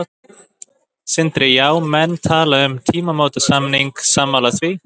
Sindri: Já, menn tala um tímamótasamning, sammála því?